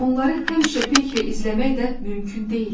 Onları həmişə peyklə izləmək də mümkün deyildi.